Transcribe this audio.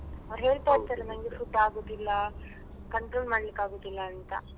ಅವ್ರು ಹೇಳ್ತಾ ಇರ್ತಾರೆ ನಂಗೆ food ಆಗುದಿಲ್ಲ control ಮಾಡ್ಲಿಕ್ಕೆ ಆಗುದಿಲ್ಲ ಅಂತ.